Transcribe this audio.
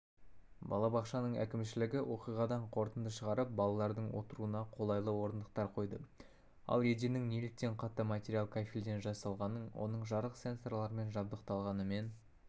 балабақшаның әкімшілігі оқиғадан қорытынды шығарып балалардың отыруына қолайлы орындықтар қойды ал еденнің неліктен қатты материал кафельден жасалғанын оның жарық сенсорларымен жабдықталғанымен